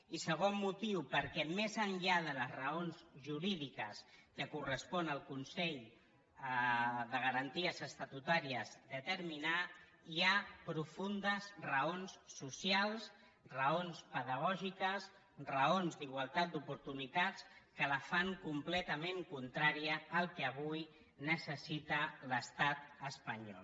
i segon motiu perquè més enllà de les raons jurídiques que correspon al consell de garanties estatutàries determinar hi ha profundes raons socials raons pedagògiques raons d’igualtat d’oportunitats que la fan completament contrària al que avui necessita l’estat espanyol